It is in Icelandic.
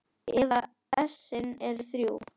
að essin eru þrjú!